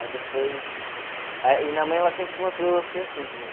Aí depois... E minha mãe, ela sempre tinha uma filosofia assim comigo.